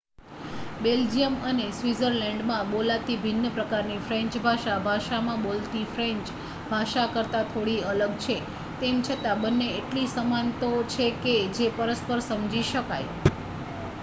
Belgium અને સ્વીત્ઝર્લેન્ડમાં બોલાતી ભિન્ન પ્રકારની ફ્રેંચ ભાષા ફ્રાંસમાં બોલતી ફ્રેંચ ભાષા કરતાં થોડી અલગ છે તેમ છતાં બંને એટલી સમાન તો છે જ કે પરસ્પર સમજી શકાય